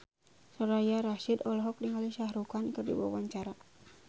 Soraya Rasyid olohok ningali Shah Rukh Khan keur diwawancara